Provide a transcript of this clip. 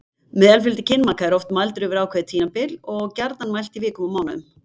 Meðalfjöldi kynmaka er oft mældur yfir ákveðið tímabil og gjarnan mælt í vikum og mánuðum.